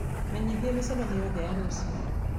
Menyithia mĩcemanio yothe ya rũciũ